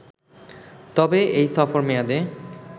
তবে এই সফর মেয়াদে